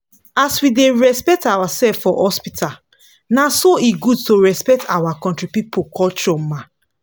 as we da respect ourself for hospital na so e good to respect our country people culture ma